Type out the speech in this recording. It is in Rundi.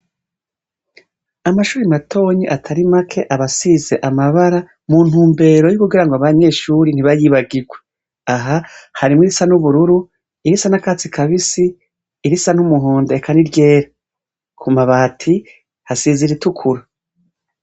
Amashure matoya atari make aba asize amabara, muntumbero yo kugira ngo abanyeshure ntibayibagurwe. Aha har' irisa n'ubururu, irisa n'akatsi kabisi, irisa n'numuhondo eka ni ryera.ku mabati hasize ir'itukura.